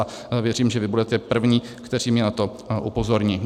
A věřím, že vy budete první, kteří mě na to upozorní.